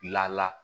Lala